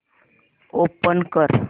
open कर